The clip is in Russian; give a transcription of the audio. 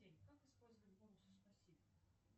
как использовать бонусы спасибо